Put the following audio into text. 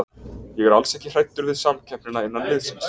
Ég er alls ekki hræddur við samkeppnina innan liðsins.